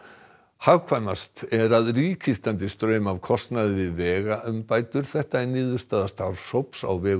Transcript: hagkvæmast er að ríkið standi straum af kostnaði við vegaumbætur þetta er niðurstaða starfshóps á vegum